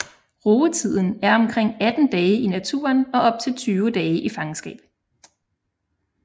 Rugetiden er omkring 18 dage i naturen og op til 20 dage i fangenskab